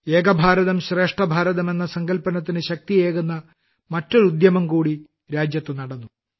ഏകഭാരതം ശ്രേഷ്ഠഭാരതം എന്ന സങ്കല്പത്തിന് ശക്തിയേകുന്ന മറ്റൊരു ഉദ്യമംകൂടി രാജ്യത്തു നടന്നു